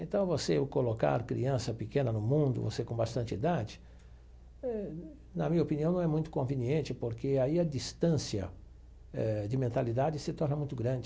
Então, você colocar criança pequena no mundo, você com bastante idade, eh na minha opinião, não é muito conveniente porque aí a distância eh de mentalidade se torna muito grande.